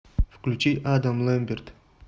включи адам лэмберт